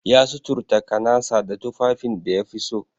Ya suturta kanasa da tufafin da yafi so.